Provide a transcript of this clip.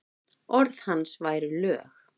Orð hans væru lög.